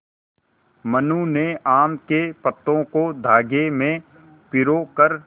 मनु ने आम के पत्तों को धागे में पिरो कर